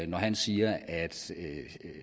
når han siger at